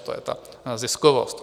To je ta ziskovost.